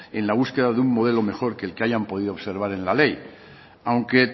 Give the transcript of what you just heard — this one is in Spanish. en la búsqueda de un modelo mejor que el que hayan podido observar en la ley aunque